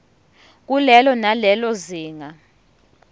kulelo nalelo zinga